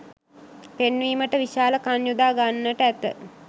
පෙන්වීමට විශාල කන් යොදා ගන්නට ඇත